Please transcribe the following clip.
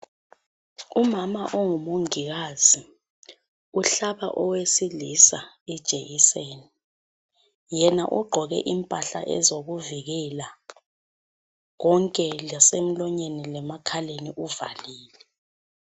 Umama ongu mongikazi uhlaba owesilisa ijekiseni. Yena ugqoke impahla ezokuvikela konke lase mlonyeni lemakhaleni uvalile.